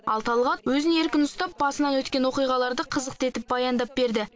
ал талғат өзін еркін ұстап басынан өткен оқиғаларды қызықты етіп баяндап берді